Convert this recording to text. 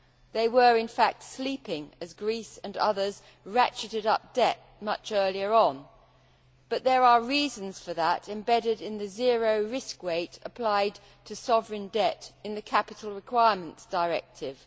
They were, in fact, sleeping as Greece and others ratcheted up debt much earlier on, but there are reasons for that embedded in the zero risk weight applied to sovereign debt in the Capital Requirements Directive.